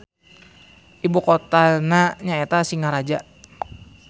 Ibu kotana nyaeta Singaraja.